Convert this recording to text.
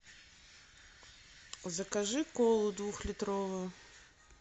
закажи колу двухлитровую